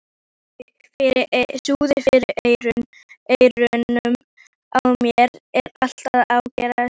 Suðið fyrir eyrunum á mér er alltaf að ágerast.